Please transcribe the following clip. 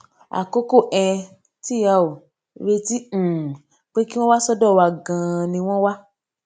àkókò um tí a ò retí um pé kí wón wá sódò wa ganan ni won wa